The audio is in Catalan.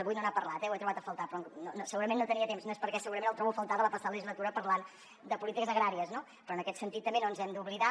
avui no n’ha parlat eh ho he trobat a faltar però segurament no tenia temps segurament ho trobo a faltar de la passada legislatura parlant de polítiques agràries no en aquest sentit tampoc no ens hem d’oblidar